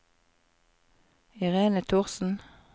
Irene Thorsen